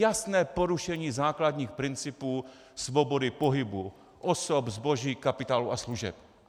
Jasné porušení základních principů svobody pohybu osob, zboží, kapitálu a služeb.